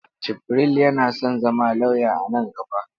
Jibril yana son zama lauya a nan gaba.